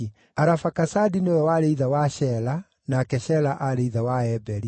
Arafakasadi nĩwe warĩ ithe wa Shela, nake Shela aarĩ ithe wa Eberi.